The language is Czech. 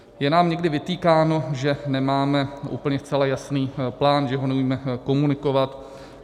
Je nám někdy vytýkáno, že nemáme úplně zcela jasný plán, že ho neumíme komunikovat.